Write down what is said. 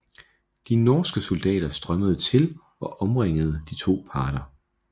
De norske soldater strømmede til og omringede de to parter